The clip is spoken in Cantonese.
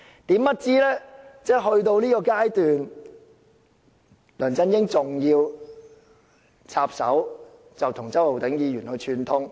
殊不知，梁振英去到這個地步還要插手，跟周浩鼎議員串通。